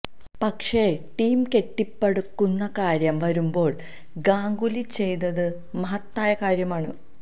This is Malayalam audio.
പക്ഷെ ടീം കെട്ടിപ്പടുക്കുന്ന കാര്യം വരുമ്പോള് ഗാംഗുലി ചെയ്തത് മഹത്തായ കാര്യമാണ്